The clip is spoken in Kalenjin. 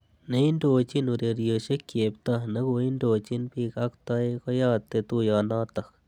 Neindochin urerisiek Cheptoo nekoindochin bik ak toek keyate tuiyonotok